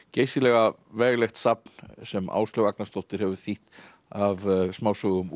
geysilega veglegt safn sem Áslaug Agnarsdóttir hefur þýtt af smásögum